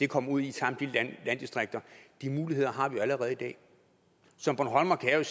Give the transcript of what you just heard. kom ud i samtlige landdistrikter de muligheder har vi jo allerede i dag som bornholmer kan jeg